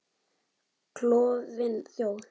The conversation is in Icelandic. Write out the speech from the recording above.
Klofin þjóð.